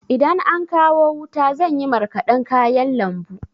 Idan an kawo wuta zan yi marƙadan kayan lambu.